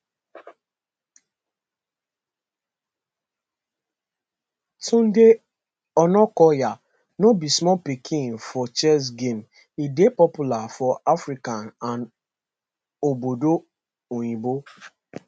tunde onakoya no be small pikin for chess game e dey popular for africa and obodo oyinbo